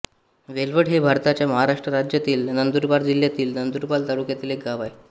वेलवड हे भारताच्या महाराष्ट्र राज्यातील नंदुरबार जिल्ह्यातील नंदुरबार तालुक्यातील एक गाव आहे